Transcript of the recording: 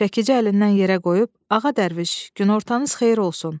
Çəkici əlindən yerə qoyub: "Ağa dərviş, günortanız xeyir olsun.